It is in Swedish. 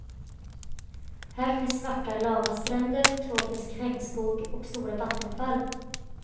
Här finns svarta lavastränder, tropisk regnskog och stora vattenfall.